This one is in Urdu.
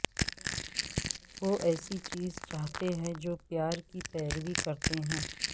وہ ایسی چیز چاہتے ہیں جو پیار کی پیروی کرتے ہیں